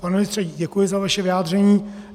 Pane ministře, děkuji za vaše vyjádření.